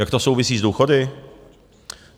Jak to souvisí s důchody?